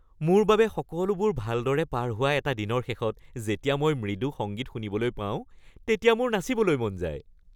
মোৰ বাবে সকলোবোৰ ভালদৰে পাৰ হোৱা এটা দিনৰ শেষত যেতিয়া মই মৃদু সংগীত শুনিবলৈ পাওঁ তেতিয়া মোৰ নাচিবলৈ মন যায়।